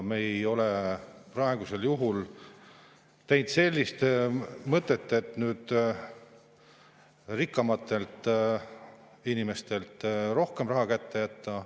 Me ei ole praegu teinud selliselt, et rikkamatele inimestele rohkem raha kätte jätta.